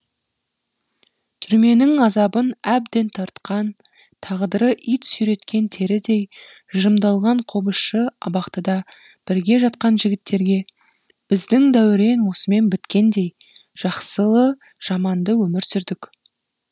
түрменің азабын әбден тартқан тағдыры ит сүйреткен терідей жырымдалған қобызшы абақтыда бірге жатқан жігіттерге біздің дәурен осымен біткендей жақсылы жаманды өмір сүрдік